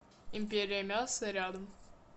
империя мяса рядом